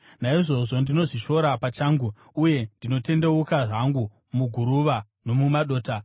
Naizvozvo ndinozvishora pachangu, uye ndinotendeuka hangu muguruva nomumadota.”